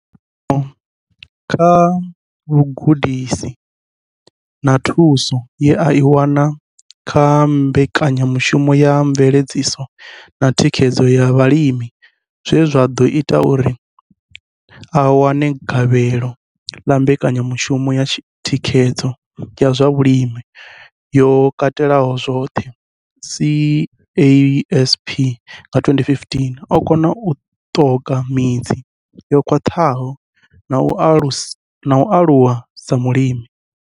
Kha vhugudisi na thuso ye a i wana kha Mbekanyamushumo ya mveledziso na thikhedzo ya Vhalimi zwe zwa ḓo ita uri a wane gavhelo ḽa mbekanyamushumo ya Thikhedzo ya zwa Vhulimi yo katelaho zwoṱhe CASP nga 2015, o kona u ṱoka midzi yo khwaṱhaho na u aluwa sa mulimi.